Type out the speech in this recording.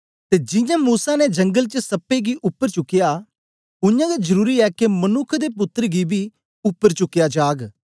ते जियां मूसा ने जंगल च सप्पे गी उपर चुकया उयांगै जरुरी ऐ के मनुक्ख दे पुत्तर गी बी उपर चुकया जाग